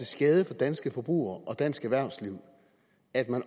skade for danske forbrugere og dansk erhvervsliv at man